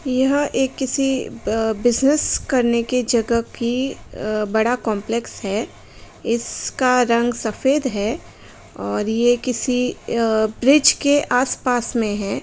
यह एक किसी बिजिनेस करने की जगह की आ बड़ा कॉम्प्लेक्स है इसका रंग सफ़ेद है और यह किसी आ ब्रिज के आस पास में हैं।